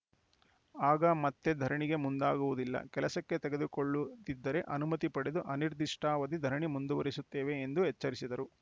ಆಗ ಮತ್ತೆ ಧರಣಿಗೆ ಮುಂದಾಗುವುದಿಲ್ಲ ಕೆಲಸಕ್ಕೆ ತೆಗೆದುಕೊಳ್ಳು ದಿದ್ದರೆ ಅನುಮತಿ ಪಡೆದು ಅನಿರ್ದಿಷ್ಟಾವಧಿ ಧರಣಿ ಮುಂದುವರಿಸುತ್ತೇವೆ ಎಂದು ಎಚ್ಚರಿಸಿದರು